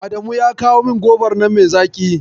Adamu ya kawo min gobar nan mai zaƙi.